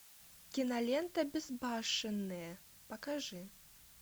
кинолента безбашенные покажи